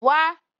Wa